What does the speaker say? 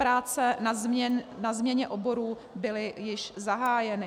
Práce na změně oborů byly již zahájeny.